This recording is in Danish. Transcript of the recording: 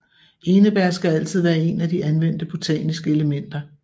Enebær skal altid være en af de anvendte botaniske elementer